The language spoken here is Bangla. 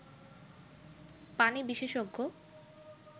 পানি বিশেষজ্ঞ